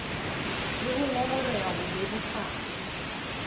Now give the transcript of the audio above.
le ho ngongoreha ho bebofatsa